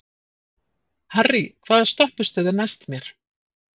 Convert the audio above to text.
Harrý, hvaða stoppistöð er næst mér?